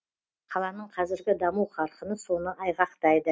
қаланың қазіргі даму қарқыны соны айғақтайды